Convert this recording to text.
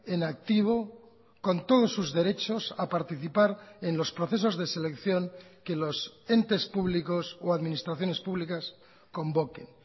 en activo con todos sus derechos a participar en los procesos de selección que los entes públicos o administraciones públicas convoquen